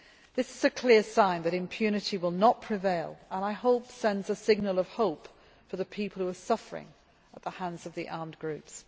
This is a clear sign that impunity will not prevail and, I hope, sends a signal of hope for the people who are suffering at the hands of the armed groups.